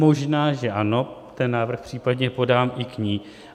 Možná že ano, ten návrh případně podám i k ní.